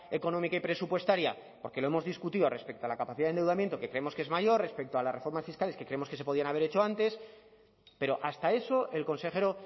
económica y presupuestaria porque lo hemos discutido respecto a la capacidad de endeudamiento que creemos que es mayor respecto a las reformas fiscales que creemos que se podían haber hecho antes pero hasta eso el consejero